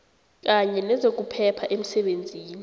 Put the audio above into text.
kanye nezokuphepha emsebenzini